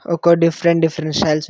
ఒక్క different different styles ఉ --